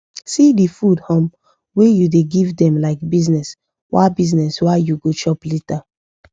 see the food um wa u da give them like business wa business wa u go chop later